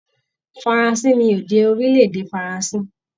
Faransé ni èdè orilẹ-èdè Faransé.